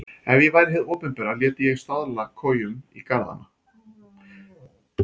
Ef ég væri hið opinbera léti ég stafla kojum í garðana.